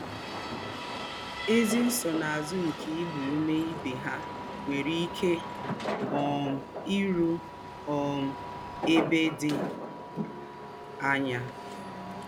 Ézí nsónà̄zù nké ígbá úmè íbé hà nwèrè íké um í rù̄ um ēbè dì̄ ányà